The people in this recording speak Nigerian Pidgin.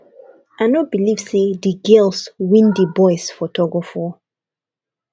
i no believe say the girls win the boys for tug of war